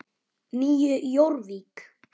Nýju Jórvík.